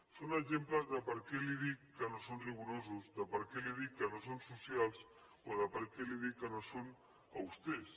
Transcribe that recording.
són exemples de perquè li dic que no són rigorosos de perquè li dic que no són socials o de perquè li dic que no són austers